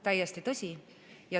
Täiesti tõsi.